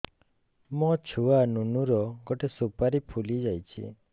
ମୋ ଛୁଆ ନୁନୁ ର ଗଟେ ସୁପାରୀ ଫୁଲି ଯାଇଛି